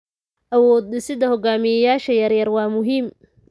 Awood-dhisidda hoggaamiyeyaasha yaryar waa muhiim.